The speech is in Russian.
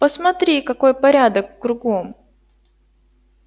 посмотри какой порядок кругом